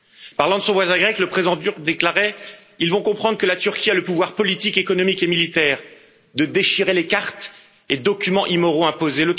Parlant de son voisin grec, le président turc déclarait ils vont comprendre que la Turquie a le pouvoir politique, économique et militaire de déchirer les cartes et documents immoraux imposés.